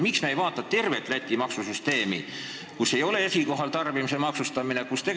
Miks me ei arvesta tervet Läti maksusüsteemi, kus ei ole esikohal tarbimise maksustamine?